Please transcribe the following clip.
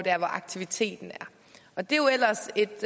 der hvor aktiviteten er det er jo ellers et